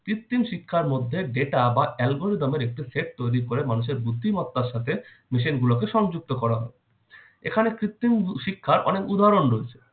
কৃত্তিম শিক্ষার মধ্যে data বা algorithm এর একটি set তৈরি করে মানুষের বুদ্ধিমত্তার সাথে machine গুলোকে সংযুক্ত করা হয় । এখানে কৃত্রিম ব~ শিক্ষার অনেক উদাহরণ রয়েছে।